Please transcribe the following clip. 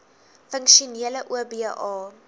funksionele oba